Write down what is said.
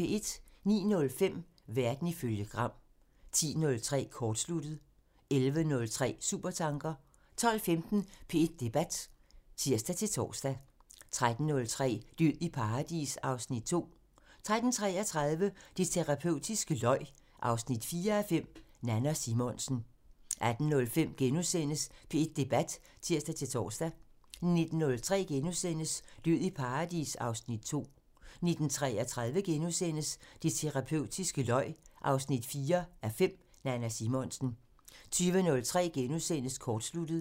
09:05: Verden ifølge Gram (tir) 10:03: Kortsluttet (tir) 11:03: Supertanker (tir) 12:15: P1 Debat (tir-tor) 13:03: Død i paradis (Afs. 2) 13:33: Det terapeutiske løg 4:5 – Nanna Simonsen 18:05: P1 Debat *(tir-tor) 19:03: Død i paradis (Afs. 2)* 19:33: Det terapeutiske løg 4:5 – Nanna Simonsen * 20:03: Kortsluttet *(tir)